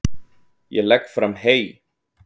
Ég legg fram hey.